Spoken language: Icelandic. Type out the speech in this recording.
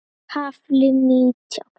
KAFLI NÍTJÁN